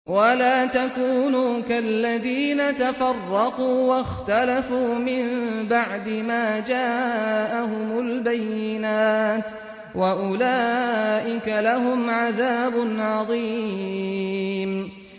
وَلَا تَكُونُوا كَالَّذِينَ تَفَرَّقُوا وَاخْتَلَفُوا مِن بَعْدِ مَا جَاءَهُمُ الْبَيِّنَاتُ ۚ وَأُولَٰئِكَ لَهُمْ عَذَابٌ عَظِيمٌ